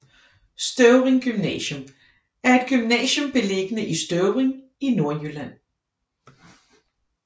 Støvring Gymnasium er et gymnasium beliggende i Støvring i Nordjylland